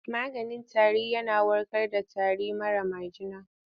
Wani maganin tarin yana warkar da tari mara majina.